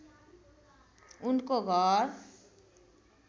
उनको घर